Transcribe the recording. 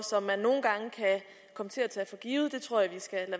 som til at tage for givet det tror jeg vi skal